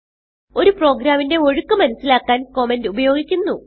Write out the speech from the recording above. ഒരു പ്രോഗ്രാമിന്റെ ഒഴുക്ക് മനസിലാക്കാൻ കമന്റ് ഉപയോഗിക്കുന്നു